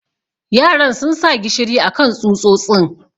yaran sun sa gishiri akan tsutsotsin.